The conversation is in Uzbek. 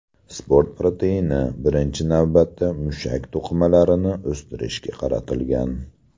Sport proteini, birinchi navbatda, mushak to‘qimalarini o‘stirishga qaratilgan.